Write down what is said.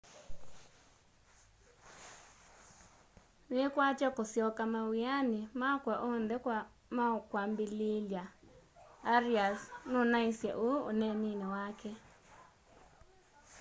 niikwatya kusyoka mawiani makwa oonthe wakwambililya arias nunaisye uu uneenini wake